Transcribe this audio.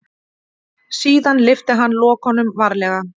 Síðan lyfti hann lokunum varlega.